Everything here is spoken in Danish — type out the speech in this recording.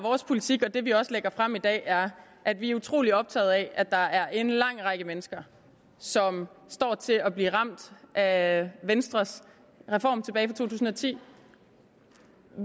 vores politik og det vi også lægger frem i dag er at vi er utrolig optagede af at der er en lang række mennesker som står til at blive ramt af venstres reform tilbage tusind og ti